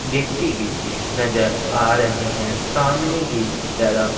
व्यक्ति भी नज़र आ रहे हैं सामने की तरफ--